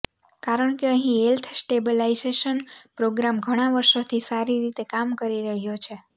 કારણ કે અહી હેલ્થ સ્ટેબલાઇજેશન પ્રોગ્રામ ઘણા વર્ષોથી સારી રીતે કામ કરી રહ્યો છે